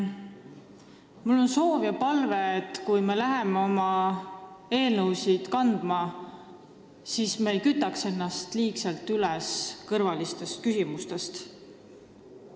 Mul on soov ja palve, et kui me läheme oma eelnõusid ette kandma, siis me ei kütaks ennast liigselt üles kõrvaliste küsimuste tõttu.